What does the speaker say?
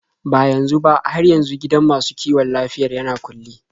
Ba yanzu ba, har yanzu gidan masu kiwon lafiyar yana kulle.